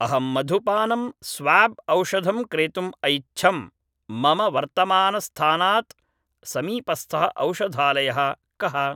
अहं मधुपानम् स्वाब् औषधं क्रेतुम् ऐच्छम्, मम वर्तमानस्थानात् समीपस्थः औषधालयः कः?